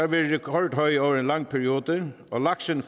været rekordhøj over en lang periode og laksen